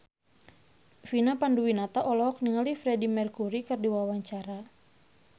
Vina Panduwinata olohok ningali Freedie Mercury keur diwawancara